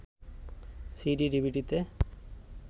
সিডি/ডিভিডিতে